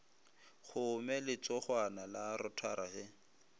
kgome letsogwana la rotara ge